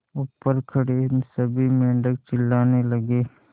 ऊपर खड़े सभी मेढक चिल्लाने लगे